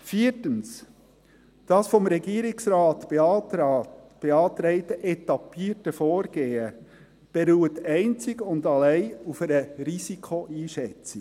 Viertens: Das vom Regierungsrat beantragte etappierte Vorgehen beruht einzig und allein auf einer Risikoeinschätzung.